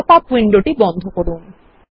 pop up window বন্ধ করুন